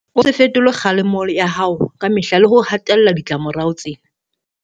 O se fetole kgalemo ya hao ka mehla le ho hatella ditlamo rao tsena.